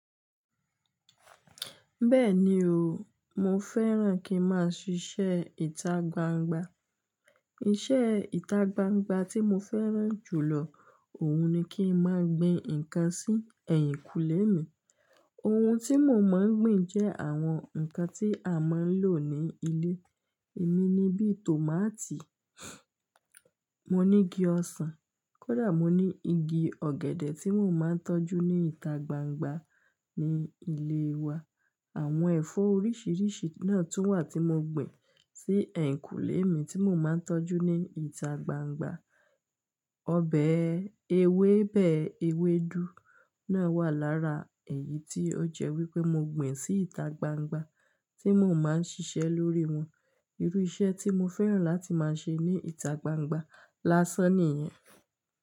Bẹ́ẹ̀ni o, mo fẹ́ràn kí n máa ṣíṣe ìtagbangba. Iṣẹ́ ìtagbangba tí mo fẹ́ràn jùlọ òun ni kí n máa gbin ǹkan sí ẹ̀yìnkùlé mi. Ohun tí mo máa ń gbin jẹ́ àwọn ǹkan tí a máa ń lò ní ilé. Emi ni bí i tòmátì, mo nígi ọsàn, kódà mo ní igi ọ̀gẹ̀dẹ̀ tí mò ń máa ń tọ́jú ní ìta gbangba ní ilé wa. Àwọn ẹ̀fọ́ oríṣiríṣi náà tún wà tí mo gbìn sí ẹ̀yìnkùlé mi tí mò máa ń tọ́jú ní ìta gbangba. Ọbẹ̀ ewébẹ̀, ewédú náà wà lára èyí tí ó jẹ́ wípé mo gbìn sí ìta gbangba tí mò ń máa ń ṣiṣẹ́ lórí wọn. Irú iṣẹ́ tí mo fẹ́ràn láti máa ṣe ní ìtagbangba lásán nìyẹn.